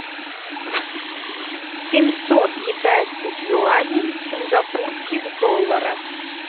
семьсот китайских юаней в сингапурских долларах